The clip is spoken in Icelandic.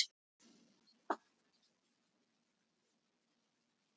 Tengsl sem verða ekki rofin.